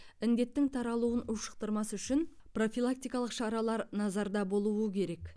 індеттің таралуын ушықтырмас үшін профилактикалық шаралар назарда болуы керек